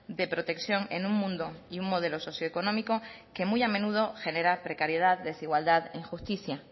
de protección en un mundo y un modelo socioeconómico que muy a menudo genera precariedad desigualdad injusticia